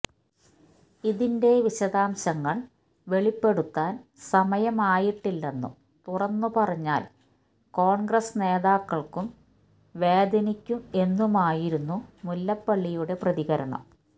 ഇതിന്റെ വിശദാംശങ്ങള് വെളിപ്പെടുത്താന് സമയം ആയിട്ടില്ലെന്നും തുറന്നുപറഞ്ഞാല് കോണ്ഗ്രസ് നേതാക്കള്ക്കും വേദനിക്കും എന്നുമായിരുന്നു മുല്ലപ്പള്ളിയുടെ പ്രതികരണം